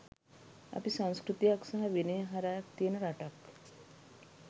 අපි සංස්කෘතියක් සහ විනයක්හරයක් තියෙන රටක්.